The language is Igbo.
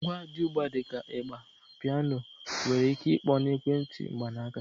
Ngwa dị ugbu a dị ka ịgbà, piano nwere ike ịkpọ na ekwentị mkpanaaka.